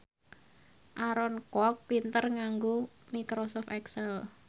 Aaron Kwok pinter nganggo microsoft excel